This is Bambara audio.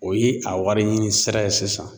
O ye a wari ɲini sira ye sisan.